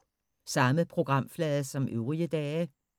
Samme programflade som øvrige dage